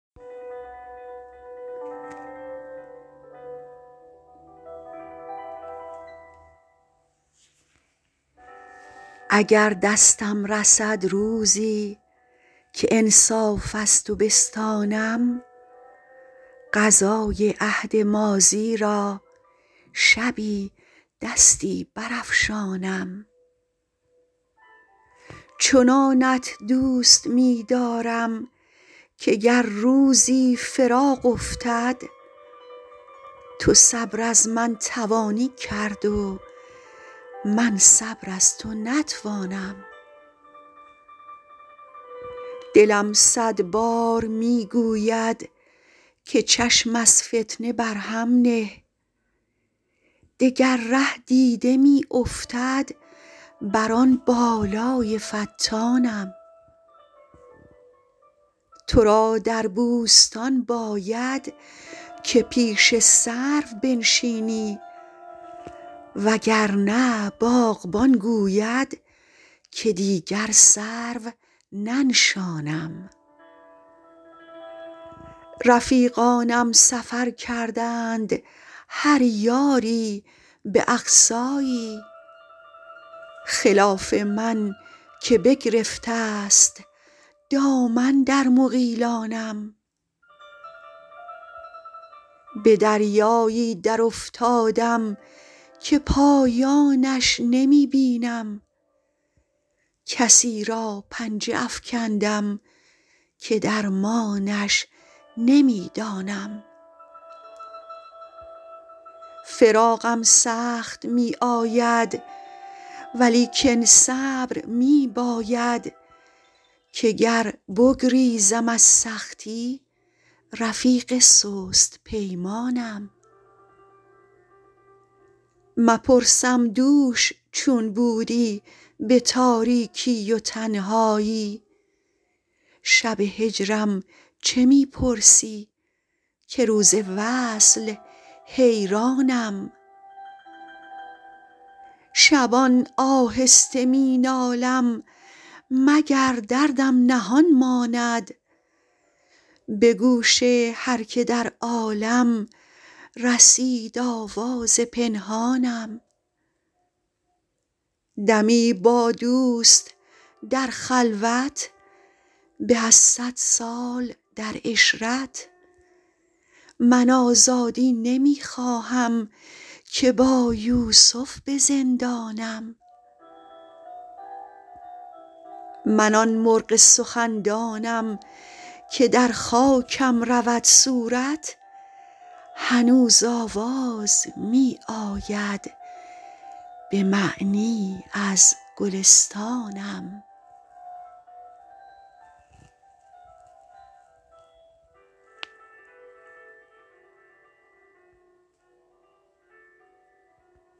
اگر دستم رسد روزی که انصاف از تو بستانم قضای عهد ماضی را شبی دستی برافشانم چنانت دوست می دارم که گر روزی فراق افتد تو صبر از من توانی کرد و من صبر از تو نتوانم دلم صد بار می گوید که چشم از فتنه بر هم نه دگر ره دیده می افتد بر آن بالای فتانم تو را در بوستان باید که پیش سرو بنشینی وگرنه باغبان گوید که دیگر سرو ننشانم رفیقانم سفر کردند هر یاری به اقصایی خلاف من که بگرفته است دامن در مغیلانم به دریایی درافتادم که پایانش نمی بینم کسی را پنجه افکندم که درمانش نمی دانم فراقم سخت می آید ولیکن صبر می باید که گر بگریزم از سختی رفیق سست پیمانم مپرسم دوش چون بودی به تاریکی و تنهایی شب هجرم چه می پرسی که روز وصل حیرانم شبان آهسته می نالم مگر دردم نهان ماند به گوش هر که در عالم رسید آواز پنهانم دمی با دوست در خلوت به از صد سال در عشرت من آزادی نمی خواهم که با یوسف به زندانم من آن مرغ سخندانم که در خاکم رود صورت هنوز آواز می آید به معنی از گلستانم